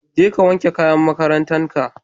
Je ka wanke kayan makarantan ka.